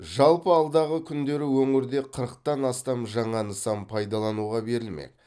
жалпы алдағы күндері өңірде қырықтан астам жаңа нысан пайдалануға берілмек